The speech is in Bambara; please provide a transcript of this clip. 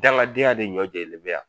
Daŋadenya de ɲɔ jɛlen bɛ yan